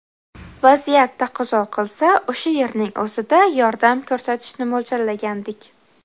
Vaziyat taqozo qilsa, o‘sha yerning o‘zida yordam ko‘rsatishni mo‘ljallagandik.